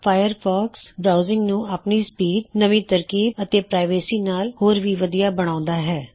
Firefox browsing ਨੂੰ ਆਪਣੀ speed ਨਵੀ ਤਕਨੀਕ ਅਤੇ ਗੋਪਨਿਅਤਾ ਨਾਲ ਹੋਰ ਵੀ ਵਧੀਆ ਬਣਾਉਂਦਾ ਹੈ